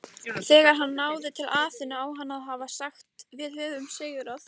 Þegar hann náði til Aþenu á hann að hafa sagt Við höfum sigrað!